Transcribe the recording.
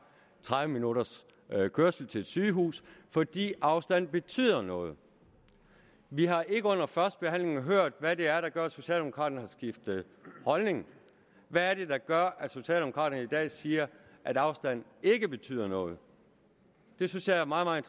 tredive minutters kørsel til et sygehus fordi afstand betyder noget vi har ikke under førstebehandlingen hørt hvad det er der gør at socialdemokraterne har skiftet holdning hvad er det der gør at socialdemokraterne i dag siger at afstand ikke betyder noget det synes jeg er meget meget